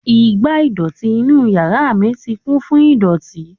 Igbá ìdọ̀tí inú yàrá mi ti kún fún ìdọ̀tí.